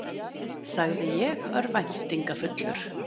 sagði ég örvæntingarfullur.